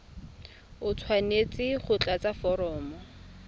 o tshwanetse go tlatsa foromo